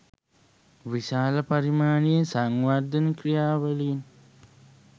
විශාල පරිමාණයේ සංවර්ධන ක්‍රියාවලීන්